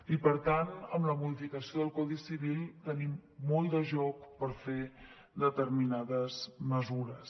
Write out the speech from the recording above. i per tant amb la modificació del codi civil tenim molt de joc per fer determinades mesures